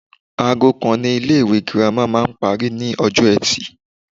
Aago kan ni ilé ìwé girama máa ń parí ní ọjọ́ etì